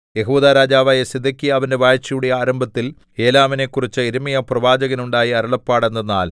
യെഹൂദാ രാജാവായ സിദെക്കീയാവിന്റെ വാഴ്ചയുടെ ആരംഭത്തിൽ ഏലാമിനെക്കുറിച്ച് യിരെമ്യാപ്രവാചകനുണ്ടായ അരുളപ്പാട് എന്തെന്നാൽ